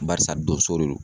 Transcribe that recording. Barisa donso de don.